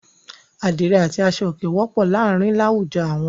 Àdìrẹ́ àti aṣọòkè wọ́pọ̀ láàárin láwùjọ àwọn.